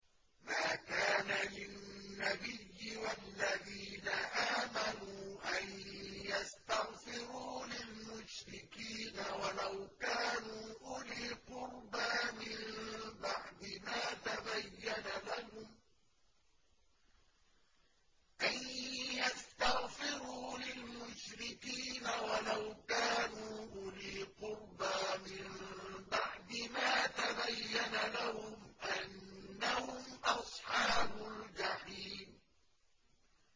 مَا كَانَ لِلنَّبِيِّ وَالَّذِينَ آمَنُوا أَن يَسْتَغْفِرُوا لِلْمُشْرِكِينَ وَلَوْ كَانُوا أُولِي قُرْبَىٰ مِن بَعْدِ مَا تَبَيَّنَ لَهُمْ أَنَّهُمْ أَصْحَابُ الْجَحِيمِ